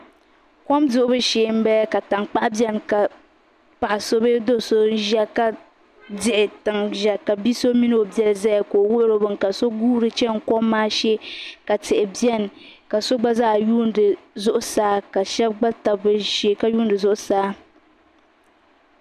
kom duɣ'bu shɛbala ka tangbaɣ' bɛni ka paɣ' so bɛ do so ʒɛya ka dihi tiŋ ʒɛya ka bi so mini o bɛli ʒɛya ka o wuri o bɛni ka so guri chini kom maa shɛ ka tihi mini. ka so gba zaa yuni zuɣ' saa ka shɛba gba ta bi shɛ ka yuni zuɣ' saa